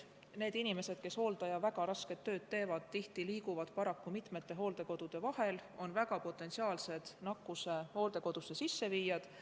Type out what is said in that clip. Paraku need inimesed, kes hooldaja rasket tööd teevad, liiguvad tihtipeale mitme hooldekodu vahel ning nad on potentsiaalsed nakkuse hooldekodusse sisseviijad.